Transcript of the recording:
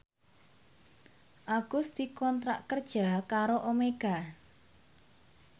Agus dikontrak kerja karo Omega